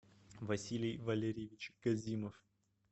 василий валерьевич казимов